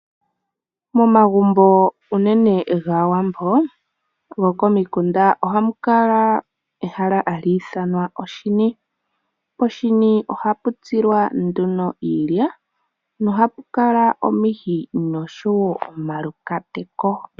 Momagumbo unene gaawambo goko mikunda ohamu kala ehala hali ithanwa ehala hali ithanwa oshini. Poshini ohapu tsilwa nduno iilya nohapukala omihi noshowo omaluhwati.